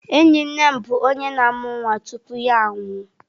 Enyi nne m bụ onye na-amụ nwa tupu ya anwụọ